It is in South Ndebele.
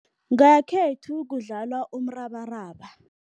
Ngekhethu kudlalwa umrabaraba.